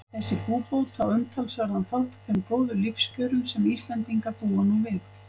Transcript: Þessi búbót á umtalsverðan þátt í þeim góðu lífskjörum sem Íslendingar búa nú við.